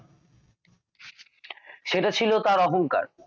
সেটা ছিল তাঁর অহঙ্কার